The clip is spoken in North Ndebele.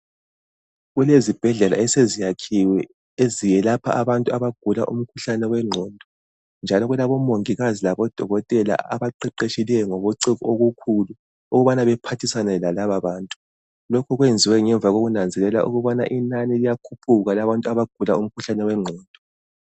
Kulezibhedlela eseziyakhiwe eziyelapha abantu abagula umkhuhlane wengqondo. Njalo kulabomongikazi labodokotela abaqeqetshileyo ngobuciko obukhulu, ukubana bephathisane lalababantu. Lokhu kwenziwe ngemva kokunanzelela ukubana inani liyakhuphuka labantu abagula umkhuhlane wengqondo.